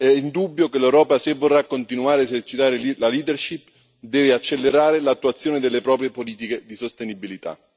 È indubbio che l'Europa, se vorrà continuare a esercitare la leadership deve accelerare l'attuazione delle proprie politiche di sostenibilità.